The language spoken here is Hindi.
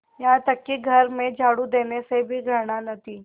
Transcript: यहाँ तक कि घर में झाड़ू देने से भी घृणा न थी